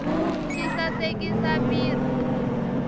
swi sasekisa mirhi